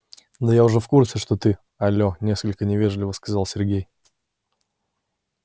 да я уже в курсе что ты але несколько невежливо сказал сергей